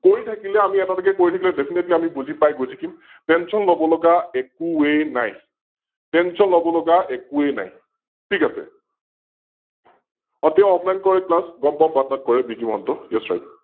কৰি থাকিলে আমি এটা এটা কৈ বুজি পাই গৈ থাকিম Tention লব লগা একোৱে নাই, Tention লব লগা একোৱে নাই । ঠিক আছে । অ তেও Off line কৰে Class গম পাও বাৰু তেও তাত কৰে বি জি মহন্ত YesRight